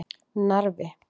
Narfi